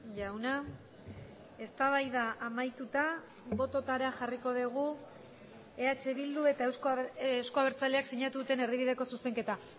jauna eztabaida amaituta bototara jarriko dugu eh bildu eta euzko abertzaleak sinatu duten erdibideko zuzenketa